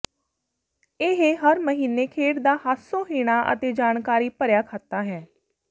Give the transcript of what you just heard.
ਇਹ ਹਰ ਮਹੀਨੇ ਖੇਡ ਦਾ ਹਾਸੋਹੀਣਾ ਅਤੇ ਜਾਣਕਾਰੀ ਭਰਿਆ ਖਾਤਾ ਹੈ